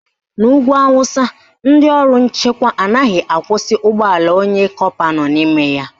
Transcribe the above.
N'ugwu Awụsa, ndị ọrụ nchekwa anaghị akwụsị ụgbọala onye kọpa nọ n'ime ya